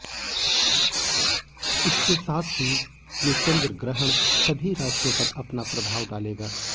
इसके साथ ही ये चंद्रग्रहण सभी राशियों पर अपना प्रभाव डालेगा